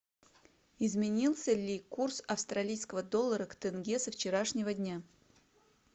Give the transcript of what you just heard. изменился ли курс австралийского доллара к тенге со вчерашнего дня